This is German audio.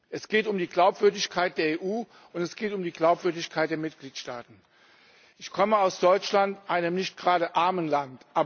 Es geht um die Glaubwürdigkeit der EU, und es geht um die Glaubwürdigkeit der Mitgliedstaaten. Ich komme aus Deutschland, einem nicht gerade armen Land.